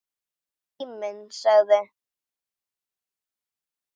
Tíminn sagði: